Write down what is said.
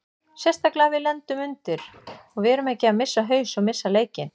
Sérstaklega við lendum undir og við erum ekki að missa haus og missa leikinn.